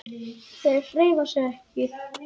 Þeir hreyfa sig ekki!